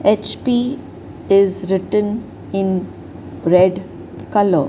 H_P is written in red colour.